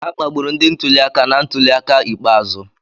A kpagburu ndị ntuli aka na ntuli aka ikpeazụ.